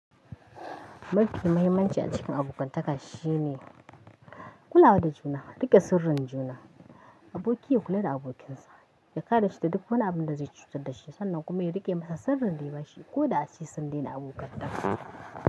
Mafi muhimmanci a cikin abokantaka shine kulawa da juna, riƙe sirrin juna. Aboki ya kula da abokinsa, ya kare shi da duk wani abin da zai cutar da shi sannan kuma ya riƙe masa sirrin da ya ba shi ko da ace sun daina abokantaka.